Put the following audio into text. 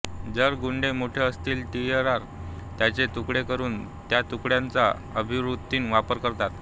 जर ग्ड्डे मोठे असतील टीआर त्यांचे तुकडे करून त्या तुकड्यांचा अभिवृद्धीत वापर करतात